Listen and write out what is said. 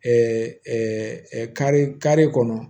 kari kari kɔnɔ